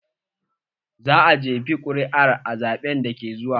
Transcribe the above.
Zaka jefa ƙuri'a a zaɓen da ke zuwa?